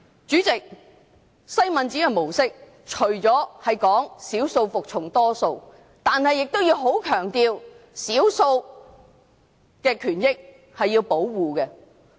主席，西敏寺的模式除了是少數服從多數外，亦十分強調要保護少數的權益。